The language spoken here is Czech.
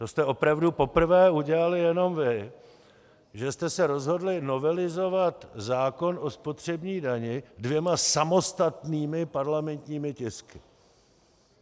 To jste opravdu poprvé udělali jenom vy, že jste se rozhodli novelizovat zákon o spotřební dani dvěma samostatnými parlamentními tisky.